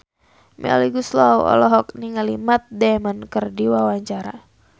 Melly Goeslaw olohok ningali Matt Damon keur diwawancara